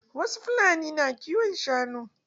Wasu fulanin na kiwon shanu.